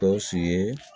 Gawusu ye